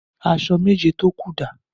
Aṣọ méjé tó kú dà?